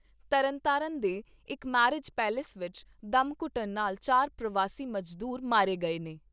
ਤਰਨਤਾਰਨ ਦੇ ਇਕ marriage palace ਵਿਚ ਦਮ ਘੁੱਟਣ ਨਾਲ ਚਾਰ ਪ੍ਰਵਾਸੀ ਮਜ਼ਦੂਰ ਮਾਰੇ ਗਏ ਨੇ।